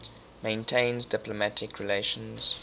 maintains diplomatic relations